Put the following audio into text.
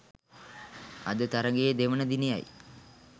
අද තරඟයේ දෙවන දිනයයි